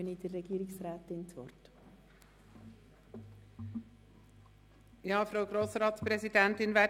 Dann übergebe ich Regierungsrätin Egger das Wort.